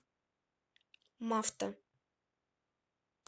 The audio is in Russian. мавто